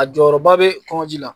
A jɔyɔrɔba bɛ kɔnji la